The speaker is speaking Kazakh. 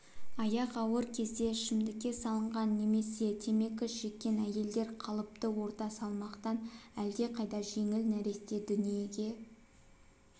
аяқ ауыр кезде ішімдікке салынған немесе темекі шеккен әйелдер қалыпты орта салмақтан әлдеқайда жеңіл нәресте дүниеге